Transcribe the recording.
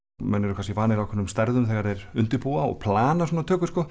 menn eru kannski vanir ákveðnum stærðum þegar þeir undirbúa og plana svona tökur sko